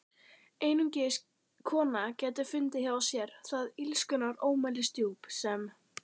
Einungis kona gæti fundið hjá sér það illskunnar ómælisdjúp sem